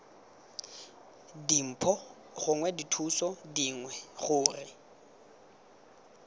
dimpho gongwe dithuso dingwe gore